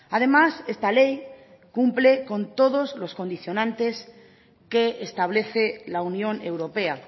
además esta ley cumple con todos los condicionantes que establece la unión europea